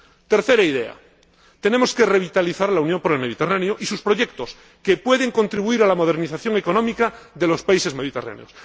Tercera idea tenemos que revitalizar la Unión por el Mediterráneo y sus proyectos, que pueden contribuir a la modernización económica de los países mediterráneos.